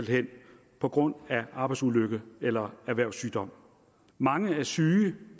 hen på grund af arbejdsulykke eller erhvervssygdom mange er syge